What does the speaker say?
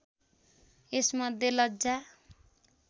यसमध्ये लज्जा